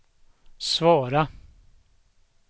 svara